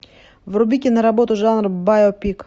вруби киноработу жанр байопик